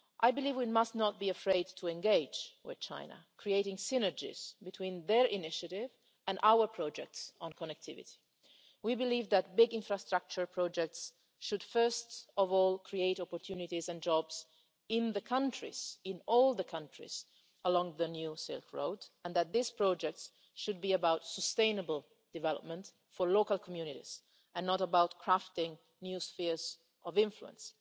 I believe we must not be afraid to engage with China, creating synergies between their initiative and our projects on connectivity. We believe that big infrastructure projects should, first of all, create opportunities and jobs in all the countries along the New Silk Road, and that these projects should be about sustainable development for local communities and not about crafting new spheres of influence.